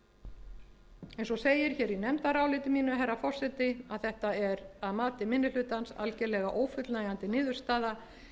grunnlínupunkta eins og segir hér í nefndaráliti mínu herra forseti að þetta er að mati minni hlutans algerlega ófullnægjandi niðurstaða